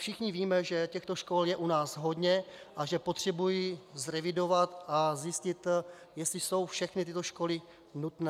Všichni víme, že těchto škol je u nás hodně a že potřebují zrevidovat a zjistit, jestli jsou všechny tyto školy nutné.